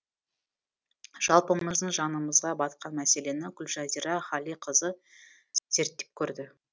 жалпымыздың жанымызға батқан мәселені гүлжазира ғалиқызы зерттеп көрді